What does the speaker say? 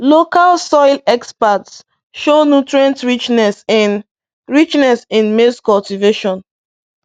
Local soil experts show nutrient richness in richness in maize cultivation.